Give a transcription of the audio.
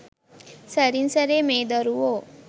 සැරින් සැරේ මේ දරුවෝ